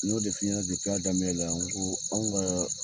N'o de f'i ɲɛna a daminɛ na n ko anw ka